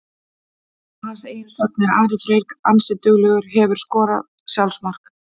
Að hans eigin sögn er Ari Freyr ansi duglegur Hefurðu skorað sjálfsmark?